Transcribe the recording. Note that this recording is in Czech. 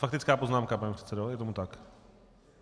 Faktická poznámka, pane předsedo, je tomu tak?